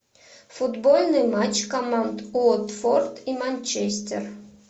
футбольный матч команд уотфорд и манчестер